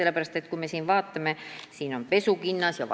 Vaatame, mida saab soodustusega osta.